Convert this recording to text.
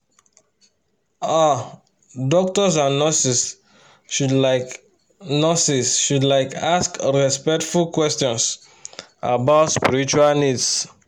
ah doctors and nurses should like nurses should like ask respectful questions about spiritual needs